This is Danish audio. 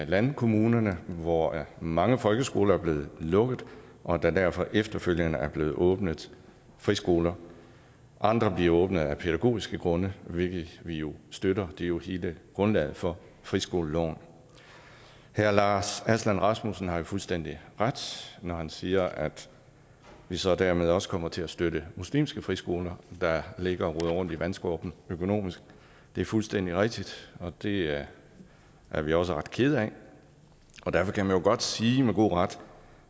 landkommunerne hvor mange folkeskoler er blevet lukket og der derfor efterfølgende er blevet åbnet friskoler andre bliver åbnet af pædagogiske grunde hvilket vi jo støtter det er jo hele grundlaget for friskoleloven herre lars aslan rasmussen har jo fuldstændig ret når han siger at vi så dermed også kommer til at støtte muslimske friskoler der ligger og roder rundt i vandskorpen økonomisk det er fuldstændig rigtigt og det er vi også ret kede af og derfor kan man jo godt sige med god ret